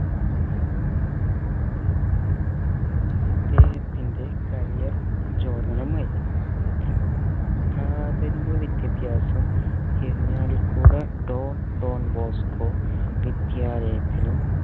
ഇദ്ദേഹത്തിന്റെ career പ്രചോദനമായി പ്രഥമിക വിദ്യാഭ്യാസം ഇരിഞ്ഞാലക്കുട don don bosco വിദ്യാലയത്തിലും